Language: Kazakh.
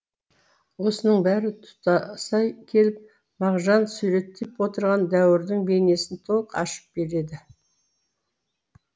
осының бәрі тұтаса келіп мағжан суреттеп отырған дәуірдің бейнесін толық ашып береді